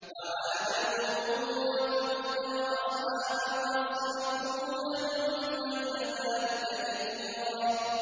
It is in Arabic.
وَعَادًا وَثَمُودَ وَأَصْحَابَ الرَّسِّ وَقُرُونًا بَيْنَ ذَٰلِكَ كَثِيرًا